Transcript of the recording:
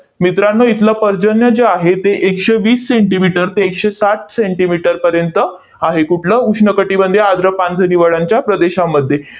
मित्रांनो, इथलं पर्जन्य जे आहे, ते एकशे वीस सेंटीमीटर ते एकशे साठ सेंटीमीटर पर्यंत आहे. कुठलं? उष्ण कटिबंधीय आर्द्र पानझडी वनांच्या प्रदेशामध्ये.